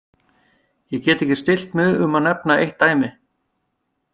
Ég get ekki stillt mig um að nefna eitt dæmi.